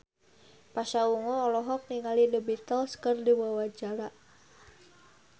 Pasha Ungu olohok ningali The Beatles keur diwawancara